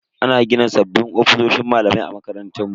Ana gina sabbin ofisoshin malamai a makarantar mu.